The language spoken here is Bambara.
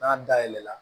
N'a dayɛlɛ la